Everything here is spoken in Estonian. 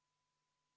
Vaheaeg kümme minutit.